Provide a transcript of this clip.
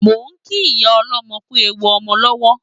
Mo ń kí ìyá ọlọ́mọ kú ewu ọmọ lọ́wọ́